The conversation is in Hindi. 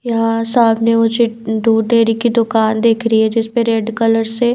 यहां सामने मुझे दूध डेरी की दुकान देखरी है जिस पे रेड कलर से--